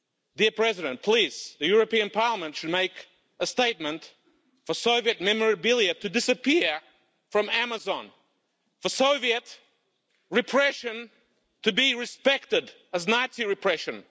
The European Parliament should make a statement for Soviet memorabilia to disappear from Amazon for Soviet repression to be respected, as Nazi repression.